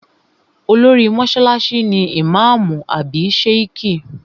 Olórí mọ́sálásí ni ìmáàmù àbí Sheikh